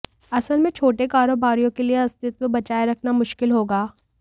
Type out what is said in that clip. असल में छोटे कारोबारियों के लिए अस्तित्व बचाए रखना मुश्किल होगा